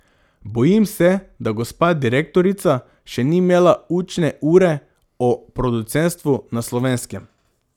Bojim se, da gospa direktorica še ni imela učne ure o producentstvu na Slovenskem.